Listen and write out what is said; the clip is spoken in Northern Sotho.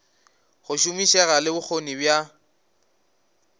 go šomišega le bokgoni bja